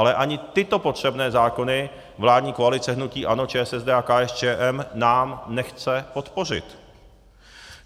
Ale ani tyto potřebné zákony vládní koalice hnutí ANO, ČSSD a KSČM nám nechce podpořit.